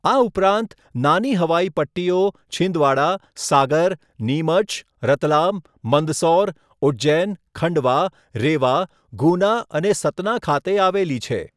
આ ઉપરાંત, નાની હવાઈ પટ્ટીઓ છિંદવાડા, સાગર, નીમચ, રતલામ, મંદસૌર, ઉજ્જૈન, ખંડવા, રેવા, ગુના અને સતના ખાતે આવેલી છે.